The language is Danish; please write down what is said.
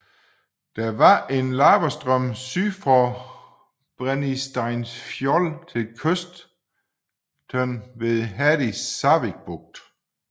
Der var en lavastrøm syd fra Brennisteinsfjöll til kysten ved Herdísarvík bugt